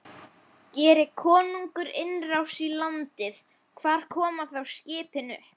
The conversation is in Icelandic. Geri konungur innrás í landið, hvar koma þá skipin upp?